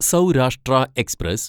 Saurashtra express